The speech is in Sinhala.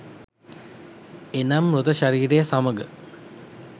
එනම් මාතෘ ශරීරය සමග